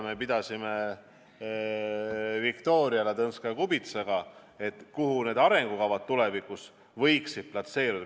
Me pidasime Viktoria Ladõnskaja-Kubitsaga diskussiooni, kuhu need arengukavad tulevikus võiksid platseeruda.